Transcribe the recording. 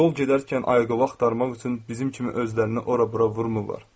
Yol gedərkən ayaqyolu axtarmaq üçün bizim kimi özlərini ora-bura vurmurlar.